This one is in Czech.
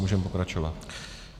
Můžeme pokračovat.